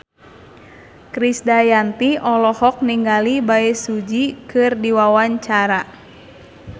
Krisdayanti olohok ningali Bae Su Ji keur diwawancara